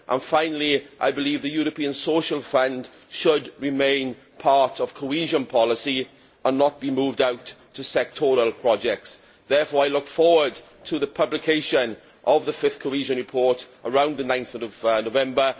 Finally, I believe the European Social Fund should remain part of cohesion policy and not be moved out to sectoral projects. I look forward to the publication of the fifth Cohesion Report, around 9 November.